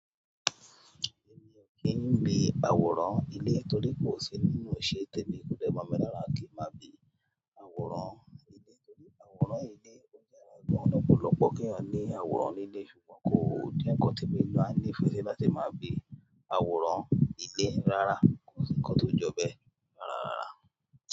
Èmi ò kí ń gbin àwòrán ilé torí pé kò sí nínú ìṣe tèmi, kò dẹ́bọ̀ mi lọ́wọ́ kí ń má bi àwòrán ilé torí àwòrán ilé ó jẹ́ àràgbọ̀n lọ́pọ̀lọ́pọ̀ kí a ní àwòrán ilé ṣùgbọ́n kó ó ní ǹkan tí èmi máa ń ní ìfẹ́ sí láti máa gbin àwòrán ilé rara, kò sí ǹkan tó jọ bẹ́ẹ̀ rárára.